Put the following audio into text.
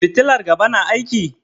Fitilar gaba na aiki?